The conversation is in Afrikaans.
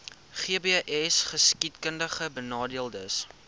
gbsgeskiedkundigbenadeeldes